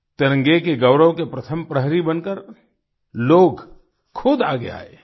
तिरंगे के गौरव के प्रथम प्रहरी बनकर लोग खुद आगे आए